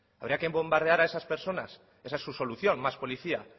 habría que bombardear a esas personas esa es su solución más policía